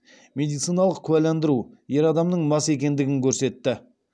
медициналық куәландыру ер адамның мас екендігін көрсетті